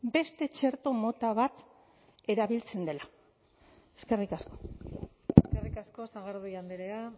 beste txerto mota bat erabiltzen dela eskerrik asko eskerrik asko sagardui andrea